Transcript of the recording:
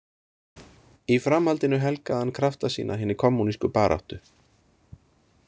Í framhaldinu helgaði hann krafta sína hinni kommúnísku baráttu.